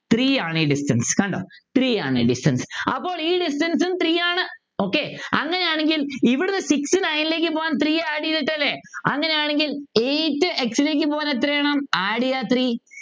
Three യാണ് ഈ Distance കണ്ടോ Three യാണ് Distance കണ്ടോ അപ്പോൾ ഈ Distance ഉം Three ആണ് okay അങ്ങനെ ആണെങ്കിൽ ഇവിടുന്ന് six nine ലേക്ക് പോകാൻ Three add ചെയ്തിട്ടല്ലേ അങ്ങനെയാണെങ്കിൽ eight x ലേക്ക് പോകാൻ എത്ര വേണം Three ചെയ്യാ Three